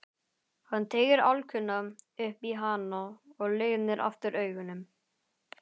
Hann teygir álkuna upp í hana og lygnir aftur augunum.